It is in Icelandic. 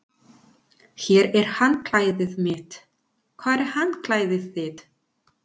Hér er handklæðið mitt. Hvar er handklæðið þitt?